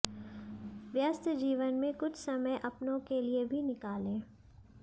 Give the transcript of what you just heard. व्यस्त जीवन में कुछ समय अपनों के लिए भी निकालें